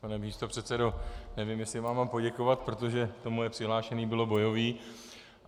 Pane místopředsedo, nevím, jestli vám mám poděkovat, protože to moje přihlášení bylo bojové.